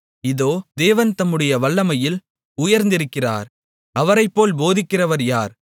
இதோ தேவன் தம்முடைய வல்லமையில் உயர்ந்திருக்கிறார் அவரைப் போல் போதிக்கிறவர் யார்